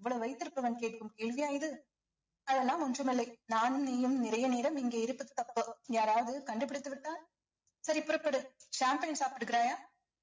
இவ்வளவு வைத்திருப்பவன் கேக்கும் கேள்வியா இது அதெல்லாம் ஒன்றுமில்லை நானும் நீயும் நிறைய நேரம் இங்கே இருப்பது தப்பு யாராவது கண்டுபிடித்து விட்டால் சரி புறப்படு சாப்பிடுகிறாயா